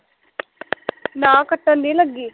ਨਾ ਕੱਟਣ ਨੀ ਲੱਗੀ